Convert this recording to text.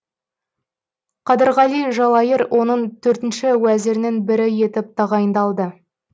қадырғали жалайыр оның төртінші уәзірінің бірі етіп тағайындалды